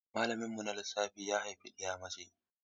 Malaminmu na Lissafi ya haifi ɗiya mace.